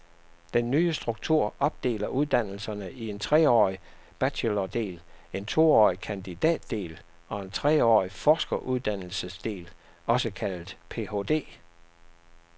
Den nye struktur opdeler uddannelserne i en treårig bachelordel, en toårig kandidatdel og en treårig forskeruddannelsesdel, også kaldet phd.